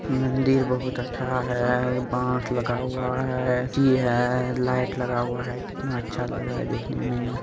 मंदिर बहोत अच्छा है बास लगा हुआ है तिरा है लाइट लगा हुआ है कितना अच्छा लग रहा है देखने मे।